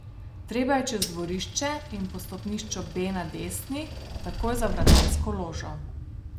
Treba je čez dvorišče in po stopnišču B na desni, takoj za vratarsko ložo.